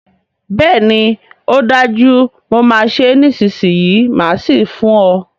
Bẹ́ẹ̀ni ọ dájú, mo máa ṣé nísìsiyìí máà sì fún ọ